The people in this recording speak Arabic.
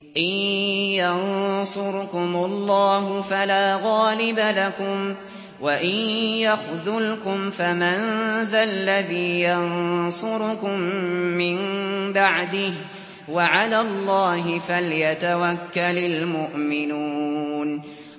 إِن يَنصُرْكُمُ اللَّهُ فَلَا غَالِبَ لَكُمْ ۖ وَإِن يَخْذُلْكُمْ فَمَن ذَا الَّذِي يَنصُرُكُم مِّن بَعْدِهِ ۗ وَعَلَى اللَّهِ فَلْيَتَوَكَّلِ الْمُؤْمِنُونَ